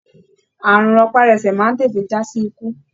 Ààrùn rọpárọsẹ̀ máa n tètè jasi ikú.